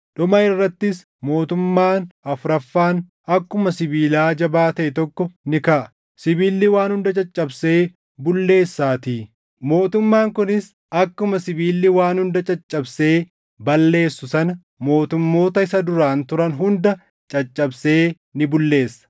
Dhuma irrattis mootummaan afuraffaan akkuma sibiilaa jabaa taʼe tokko ni kaʼa; sibiilli waan hunda caccabsee bulleessaatii; mootummaan kunis akkuma sibiilli waan hunda caccabsee balleessu sana mootummoota isa duraan turan hunda caccabsee ni bulleessa.